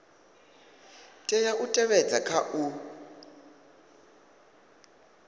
tea u tevhedzwa kha u